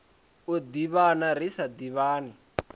u ḓivhana ri sa ḓivhani